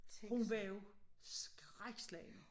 Hun var jo skrækslagen